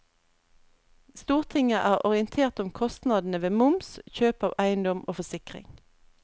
Stortinget er orientert om kostnadene ved moms, kjøp av eiendom og forsikring.